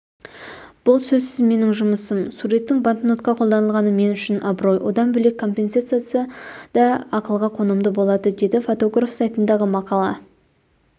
бұл сөзсіз менің жұмысым суреттің банкнотқа қолданылғаны мен үшін абырой одан бөлек компенсациясы да ақылға қонымды болады деді фотограф сайтындағы мақала